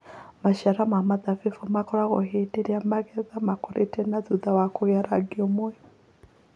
Maciara ma mũthabibũ makũragwo hĩndĩ ĩrĩa magetha makũrĩte na thutha wa kũgĩa na rangi ũmwe.